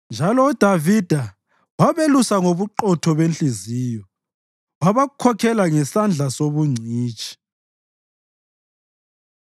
Njalo uDavida wabelusa ngobuqotho benhliziyo; wabakhokhela ngesandla sobungcitshi.